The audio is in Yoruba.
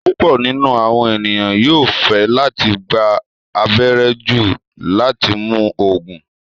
Púpọ̀ nínu awọn ènìyàn yóò fẹ́ latí gbà àbẹ̀rẹ̀ jù láti mún oogun